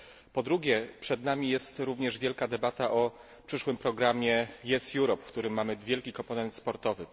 Po drugie, przed nami jest również wielka debata o przyszłym programie Yes, Europe, w którym mamy wielki komponent sportowy.